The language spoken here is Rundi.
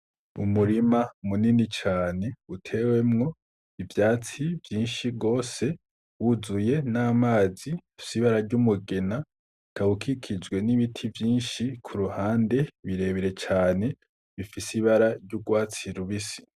Umurima munini cane utewemwo ivyatsi vyinshi gose wuzuye n'amazi afise ibara ry'umugina, bikaba bikikijwe n'ibiti vyinshi kuruhande birebire cane bifise ibara ry'urwatsi rubisi.